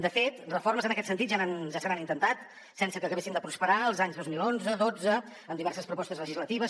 de fet de reformes en aquest sentit ja se n’han intentat sense que acabessin de prosperar els anys dos mil onze dotze en diverses propostes legislatives